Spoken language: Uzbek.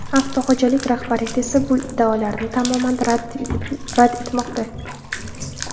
Avtoxo‘jalik rahbariyati esa bu iddaolarni tamoman rad etmoqda.